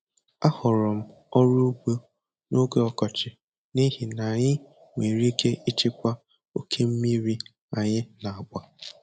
Ahọrọ m ọrụ ugbo n'oge ọkọchị n'ihi na anyị nwere ike ịchịkwa oke mmiri anyị na-agba.